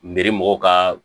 mɔgɔw ka